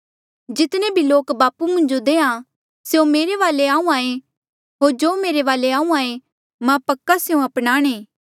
जितने भी लोक बापू मुंजो देहां स्यों से मेरे वाले आहूँआं ऐें होर जो मेरे वाले आहूँआं ऐें मां पक्का स्यों अपनाणे